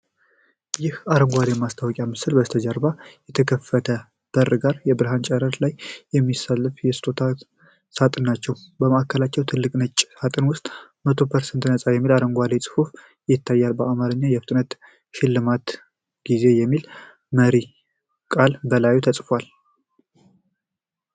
ይህ አረንጓዴ የማስታወቂያ ምስል ከበስተጀርባው ከተከፈተ በር ጋር የብርሃን ጨረር ላይ የሚንሳፈፉ የስጦታ ሳጥኖችን ያሳያል። ማዕከላዊው ትልቅ ነጭ ሳጥን ውስጥ «100% ነጻ» የሚል አረንጓዴ ጽሑፍ ይታያል፤ በአማርኛም «የፍጥነት ሽልማት ጊዜ» የሚል መሪ ቃል በላዩ ተጽፏል።